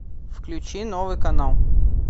включи новый канал